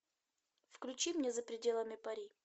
включи мне за пределами пари